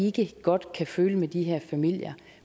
ikke godt kan føle med de her familier